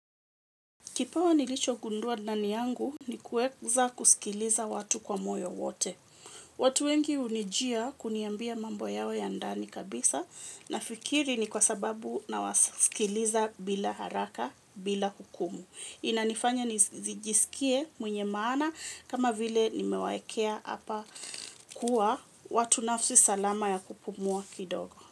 Kipawa nilicho gundua ndani yangu ni kueza kusikiliza watu kwa moyo wote. Watu wengi hunijia kuniambia mambo yao ya ndani kabisa nafikiri ni kwa sababu nawasikiliza bila haraka bila hukumu. Inanifanya nizijisikie mwenye maana kama vile nimewaekea apa kuwa watu nafsi salama ya kupumua kidogo.